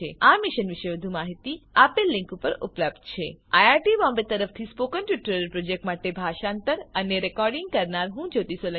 આ મિશન વિશે વધુ માહીતી આ લીંક ઉપર ઉપલબ્ધ છે httpspoken tutorialorgNMEICT Intro iit Bombay તરફથી સ્પોકન ટ્યુટોરીયલ પ્રોજેક્ટ માટે ભાષાંતર કરનાર હું જ્યોતી સોલંકી વિદાય લઉં છું